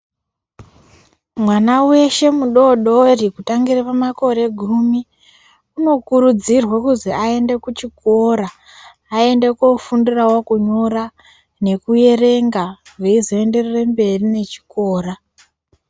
Mwana weshe mudoodori kutangire pamakore gumi unokurudzirwe kuzi aende kuchikora aende koofundirawo kunyora nekuerenga veizoendere mberi nechikora.